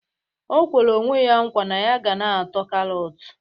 O kwere onwe ya nkwa na ya ga na-ata karọt